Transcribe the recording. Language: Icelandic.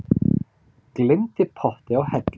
Gleymdi potti á hellu